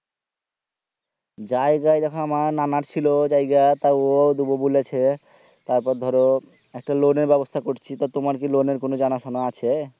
জায়গা দেখো আমার নানার ছিল জায়গা তা ওইয়াই দিবো বলছে তারপরে ধোরে একটা loan এর ব্যবস্থাকরছি তুমার কি loan এর কি কোনো জানা শুনা আছে